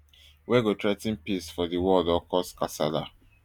wey go threa ten peace for di world or cause kasala